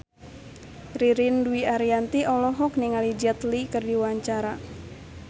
Ririn Dwi Ariyanti olohok ningali Jet Li keur diwawancara